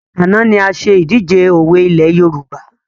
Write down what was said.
Àná ni a ṣe ìdíje òwe ilẹ̀ Yorùbá